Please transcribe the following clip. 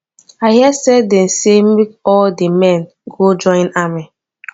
i hear say dey say make all the men go join army